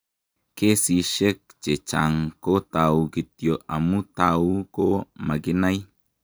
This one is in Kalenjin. Kesishek chechang' ko tau kityo, amu tau ko makinai.